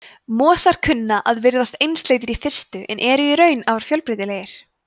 mosar kunna að virðast einsleitir í fyrstu en eru í raun afar fjölbreytilegir